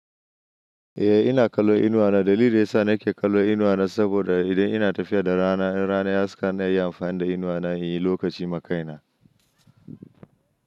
Eh ina kallon inuwa na. Dalili da ya sa nake kallon inuwa na saboda idan ina tafiya da rana, in rana ya haska ina iya amfani da inuwa na in yi lokaci ma kaina.